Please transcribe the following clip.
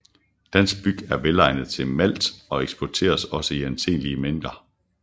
Dansk byg er velegnet til malt og eksporteres også i anselige mængder